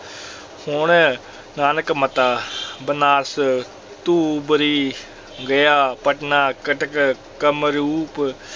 ਹੁਣ ਨਾਨਕ ਮੱਤਾ ਬਨਾਰਸ, ਧੂਬਰੀ, ਗਯਾ, ਪਟਨਾ, ਕਟਕ, ਕਾਮਰੂਪ